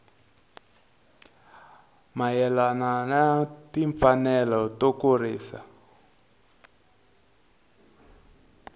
mayelana na timfanelo to kurisa